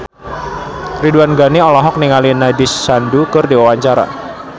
Ridwan Ghani olohok ningali Nandish Sandhu keur diwawancara